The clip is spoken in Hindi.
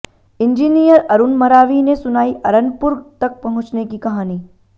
इंजीनियर अरूण मरावी ने सुनाई अरनपुर तक पहुंचने की कहानी